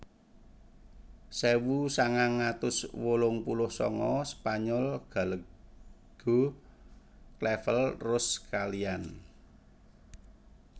Sewu sangang atus wolung puluh sanga Spanyol Gallego Clavel Rose kaliyan